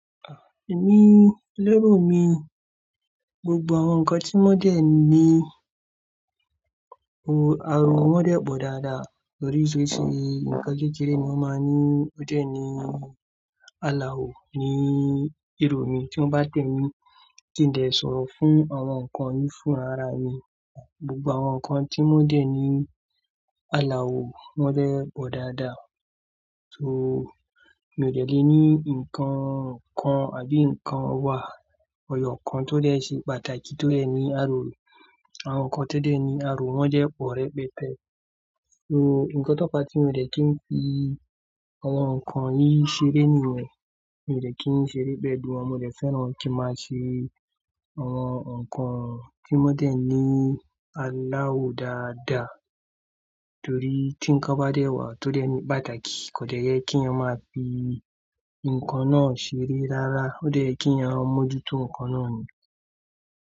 Èmi, lérò mi, gbogbo àwọn nǹkan tí wọ́n dẹ̀ ní o ariwo wọ́n dẹ̀ pọ̀ dáadáa torí osese nkan kékeré ni wọ́n máa ń ní ó dẹ̀ ní àlàó ni èrò mi tí wọ́n bá dẹ̀ mí kí n dè sọ̀rọ̀ fún àwọn nǹkan yìí fún rara mi. Gbogbo àwọn nǹkan tí wọ́n dẹ̀ ní àlàó wọ́n dẹ̀ pọ̀ dáadáa. So, mi ò dẹ̀ le ní nǹkan kan àbí nǹkan wá eyọ kan tó dẹ̀ ṣe pàtàkì tó dẹ̀ ní àrò. Àwọn nǹkan tó dẹ̀ ní àrò wọ́n dẹ́ pọ̀ rẹ́pẹtẹ. So, nǹkan tó fa tí mi ò dẹ̀ kí ń fi àwọn nǹkan yìí ṣeré nìyẹn. Mi ò dẹ̀ kí ń ṣeré pẹ̀lú wọn, mo dẹ̀ fẹ́ràn kí máa ṣe àwọn nǹkan tí wọ́n dẹ̀ ní àlàó dáadáa. Torí tí nǹkan bá dẹ̀ wá tó dẹ̀ ní pàtàkì kò dẹ̀ yẹ kí eeyan máa fi nǹkan náà ṣeré rárá. Ó dẹ̀ yẹ kí eyann mo jútó nǹkan náà ni.